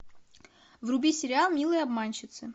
вруби сериал милые обманщицы